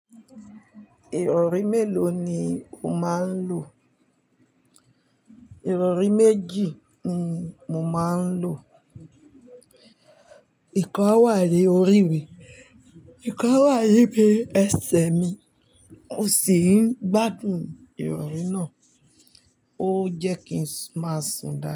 Ìrọrí mélòó ni o máa ń lo? Ìrọrí méjì ni mo máa ń lo. Ìkan á wá ni orí mi, ìkan á wá ni bi ẹsẹ̀ mi mò sìi ń gbádùn ìrọrí náà. Ó jẹ́ kí n máa sùn.